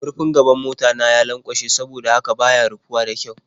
Murfin gaban mota ta ya lanƙwashe saboda haka ba ya rufuwa da ƙyau.